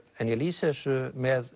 en ég lýsi þessu með